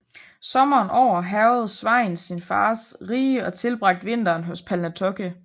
Sommeren over hærgede Sveinn sin fars rige og tilbragte vinteren hos Palnatoke